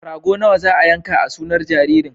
Rago nawa za a yanka a sunar jaririn?